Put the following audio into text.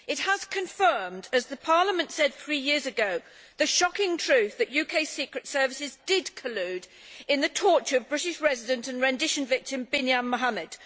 It has confirmed, as Parliament said three years ago, the shocking truth that UK secret services did collude in the torture of British resident and rendition victim Binyan Mohamed.